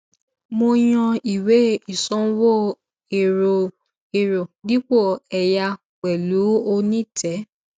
mo yàn ìwé ìsanwó ẹrọ dipo ẹyà pẹlú onítẹ